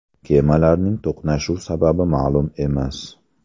Kemalarning to‘qnashuv sababi ma’lum emas.